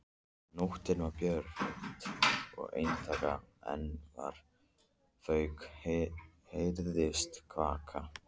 Nóttin var björt og einstaka andvaka fugl heyrðist kvaka.